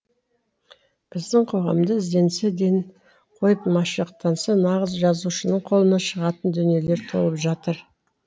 біздің қоғамда ізденсе ден қойып машықтанса нағыз жазушының қолынан шығатын дүниелер толып жатыр